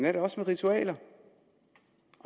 er det også med ritualer